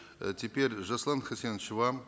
э теперь жасулан хасенович вам